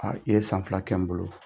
Aa i ye san fila kɛ n bolo